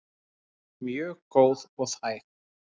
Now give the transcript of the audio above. Mjög góð og þæg.